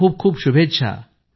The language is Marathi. आपल्याला खूप शुभेच्छा